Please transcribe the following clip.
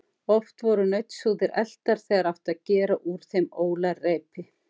Oft voru nautshúðir eltar, þegar átti að gera úr þeim ólarreipi.